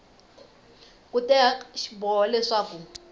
ku teka xiboho xa leswaku